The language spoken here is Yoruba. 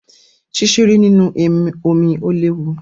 Ṣíṣeré nínú omí o léwu.